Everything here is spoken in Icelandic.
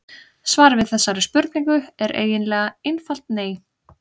Svarið við þessari spurningu er eiginlega einfalt nei.